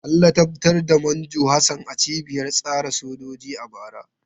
An ladabtar da Manjo Hassan a cibiyar tsare sojoji a bara.